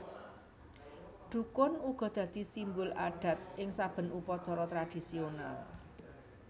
Dhukun uga dadi simbol adat ing saben upacara tradhisional